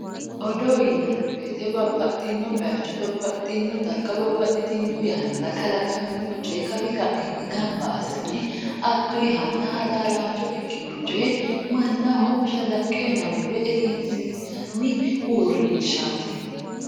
Odoo yinnanni woyte babbaxino bayicho babbaxino darga olu yanna kalaqamino coye kawi kainni gamba assine aduhanna halaalancho ikkino coye mannaho mashalaqqe uyinanni woyi egensiisanni uurrinshati.